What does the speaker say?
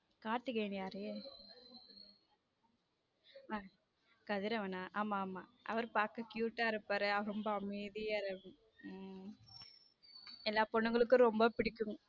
கார்த்திகேயன் யாரு கதிரவனா ஆமா ஆமா அவர் பாக்க cute டா இருப்பாரு ரொம்ப அமைதியா உம் எல்லா பொண்ணுங்களுக்கும் ரொம்ப பிடிக்கும்.